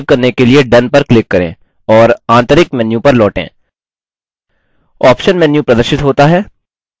शब्द या वाक्य को सेव करने के लिए done पर क्लिक करें और आंतरिक मेन्यू पर लौटें